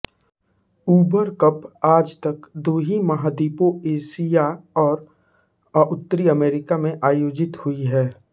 उबर Cup आजतक दू ही महाद्वीपों एशिया और उत्तर अमेरिका में आयोजित हुई है